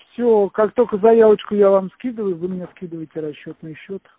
все как только заявочку я вам скидываю вы мне скидываете расчётный счёт